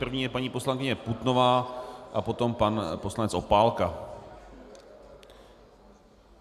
První je paní poslankyně Putnová a potom pan poslanec Opálka.